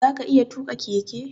Zaka iya tuƙa keke?